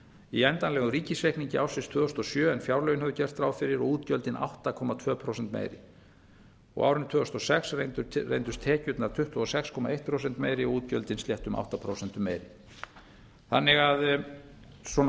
í endanlegum ríkisreikningi ársins tvö þúsund og sjö en fjárlögin höfðu gert ráð fyrir og útgjöldin átta komma tveimur prósentum meiri á árinu tvö þúsund og sex reyndust tekjurnar tuttugu og sex komma eitt prósent meiri og útgjöldin sléttum átta prósentum meiri svona